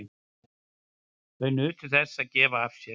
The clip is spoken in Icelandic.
Þau nutu þess að gefa af sér.